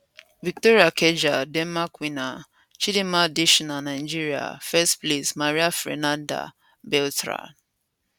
victoria kjaer denmarkwinner chidimma adetshina nigeria first place maria fernanda beltran